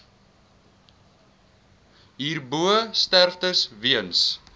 hierbo sterftes weens